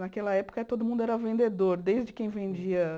Naquela época, todo mundo era vendedor, desde quem vendia.